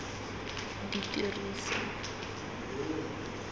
ditiriso